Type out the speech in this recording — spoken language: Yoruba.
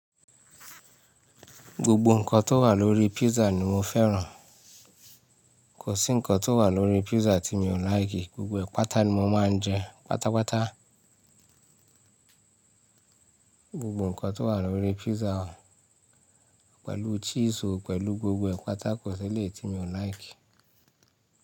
Gbogbo nǹkan tó wà lórí pizza ni mo fẹ́ràn. Kò sí nǹkan tó wà lórí pizza tí mi ò láìkì. Gbogbo ẹ̀ pàtà ni mo máa ń jẹ́, pátápátá. Gbogbo nǹkan tó wà lórí pizza pẹ̀lú cheese o pẹ̀lú gbogbo ẹ̀ pàtà kò sí eléyi tí mi ò like.